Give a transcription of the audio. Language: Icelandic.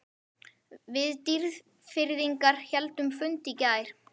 Við Dýrfirðingar héldum fund í gær.